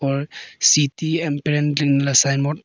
और city sign board --